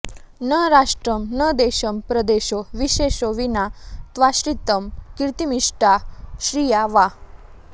न राष्ट्रं न देशं प्रदेशो विशेषो विना त्वाश्रितं कीर्तिमिष्टा श्रिया वा